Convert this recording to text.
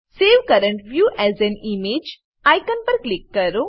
save current view as an image icon પર click કરો